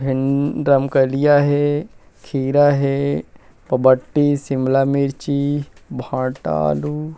भिन रमकेरिया हे खीरा हे बरबट्टी शिमला मिर्ची भट्टा आलू--